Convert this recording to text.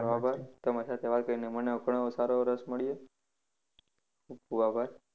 તમારો આભાર. તમારી સાથે વાત કરીને મને ઘણો સારો એવો રસ મળ્યો. ખૂબ ખૂબ આભાર.